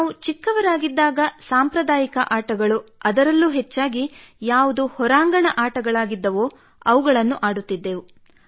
ನಾವು ಚಿಕ್ಕವರಾಗಿದ್ದಾಗ ಸಾಂಪ್ರದಾಯಿಕ ಆಟಗಳು ಅದರಲ್ಲೂ ಹೆಚ್ಚಾಗಿ ಯಾವುದು ಹೊರಾಂಗಣ ಆಟಗಳಾಗಿದ್ದವೋ ಅವುಗಳನ್ನು ಆಡುತ್ತಿದ್ದೆವು